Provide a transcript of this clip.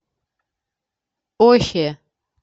охе